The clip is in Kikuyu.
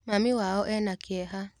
Mami wao ena kĩeha.